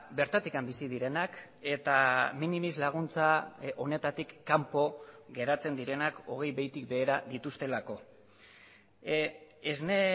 bertatik bizi direnak eta minimis laguntza honetatik kanpo geratzen direnak hogei behitik behera dituztelako esne